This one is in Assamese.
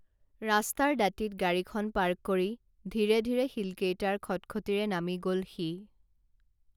ৰাস্তাৰ দাঁতিত গাড়ীখন পাৰ্ক কৰি ধীৰে ধীৰে শিলকেইটাৰ খটখটীৰে নামি গল সি